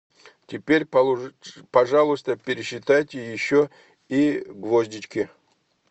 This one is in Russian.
теперь пожалуйста пересчитайте еще и гвоздички